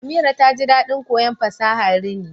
Amira taji dadin koyon fasahar rini